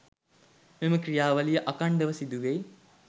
මෙම ක්‍රියාවලිය අඛණ්ඩව සිදුවෙයි.